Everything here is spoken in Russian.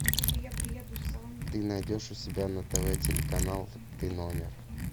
ты найдешь у себя на тв телеканал ты номер